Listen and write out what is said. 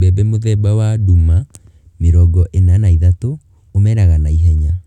Mbembe mũthemba wa nduma mĩrongo ĩna na ithatũ(43) umeraga na ihenya.